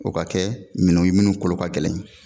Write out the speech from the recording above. O ka kɛ minnu minnu kolo ka gɛlɛn